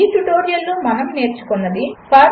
ఈ ట్యుటోరియల్లో మనము నేర్చుకున్నది 1